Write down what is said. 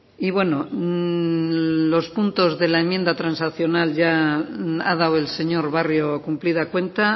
y bueno los puntos de la enmienda transaccional ya ha dado el señor barrio cumplida cuenta